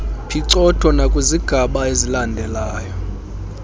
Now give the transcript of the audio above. phicotho nakwizigaba ezilandelayo